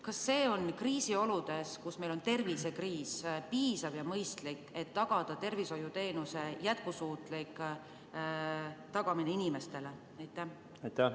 Kas see on kriisioludes, tervisekriisis, piisav ja mõistlik, et tagada tervishoiuteenuse jätkusuutlikkus?